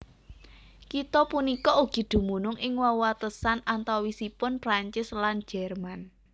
Kitha punika ugi dumunung ing wewatesan antawisipun Prancis lan Jerman